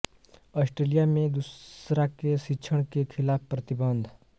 Australia में दूसरा के शिक्षण के खिलाफ प्रतिबंध